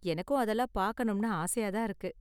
எனக்கும் அதெல்லாம் பாக்கணும்னு ஆசையா தான் இருக்கு.